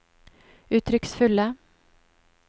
uttrykksfulle